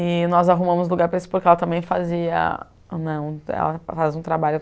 E nós arrumamos lugar para expor, porque ela também f faz um trabalho